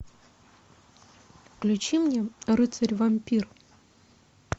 включи мне рыцарь вампир